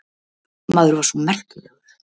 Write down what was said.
Maður var svo merkilegur.